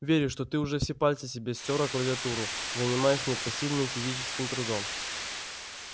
верю что ты уже все пальцы себе стер о клавиатуру занимаясь непосильным физическим трудом